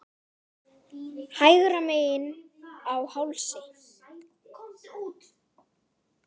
Hægra megin á hálsi.